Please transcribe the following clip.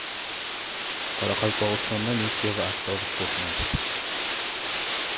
Qoraqalpog‘istonda Nexia va avtobus to‘qnashdi.